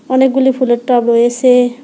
অনেকগুলি ফুলের টব রয়েসে।